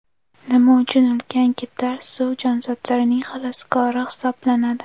Nima uchun ulkan kitlar suv jonzotlarining xaloskori hisoblanadi?.